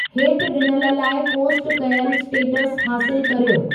हेठि ॾिनल लाइ पोस्ट कयलु स्टेटसु हासिलु कर्यो